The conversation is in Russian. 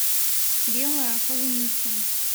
белая холуница